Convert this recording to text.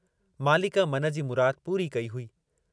मालिक मन जी मुराद पूरी कई हुई।